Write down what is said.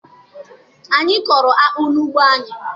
Anyị kọrọ akpụ n'ugbo anyị